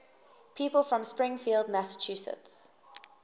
people from springfield massachusetts